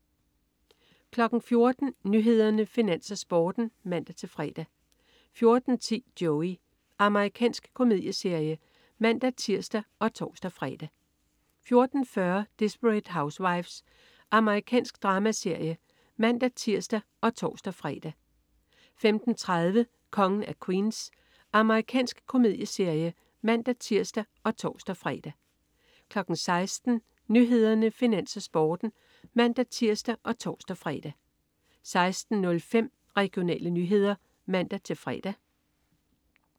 14.00 Nyhederne, Finans, Sporten (man-fre) 14.10 Joey. Amerikansk komedieserie (man-tirs og tors-fre) 14.40 Desperate Housewives. Amerikansk dramaserie (man-tirs og tors-fre) 15.30 Kongen af Queens. Amerikansk komedieserie (man-tirs og tors-fre) 16.00 Nyhederne, Finans, Sporten (man-tirs og tors-fre) 16.05 Regionale nyheder (man-fre)